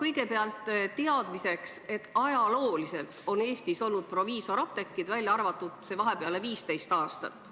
Kõigepealt teadmiseks, et ajalooliselt on Eestis olnud proviisoriapteegid, välja arvatud need vahepealsed 15 aastat.